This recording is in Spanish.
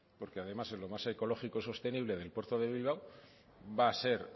porque además es lo más ecológico y sostenible del puerto de bilbao va a ser